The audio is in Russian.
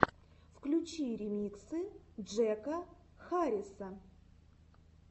включи ремиксы джека харриса